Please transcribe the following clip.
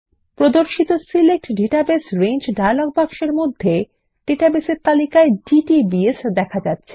প্রদর্শিত select database range dialog বাক্সের মধ্যে ডেটাবেসের তালিকায় ডিটিবিএস দেখা যাচ্ছে